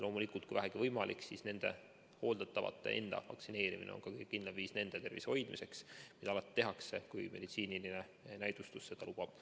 Loomulikult, kui vähegi võimalik, siis hooldatavate enda vaktsineerimine on kõige kindlam viis nende tervise hoidmiseks, mida alati tehakse, kui meditsiiniline näidustus seda lubab.